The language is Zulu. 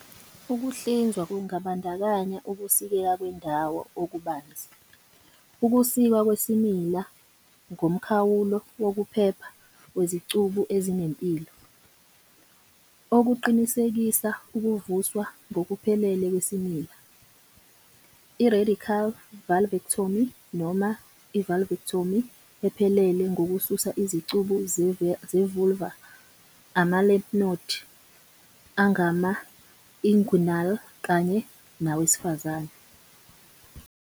Ukuhlinzwa kungabandakanya ukusikeka kwendawo okubanzi, ukusikwa kwesimila ngomkhawulo wokuphepha wezicubu ezinempilo, okuqinisekisa ukususwa ngokuphelele kwesimila, i- radical vulvectomy, noma i-vulvectomy ephelele ngokususa izicubu ze-vulvar, ama- lymph node angama- inguinal kanye nawesifazane.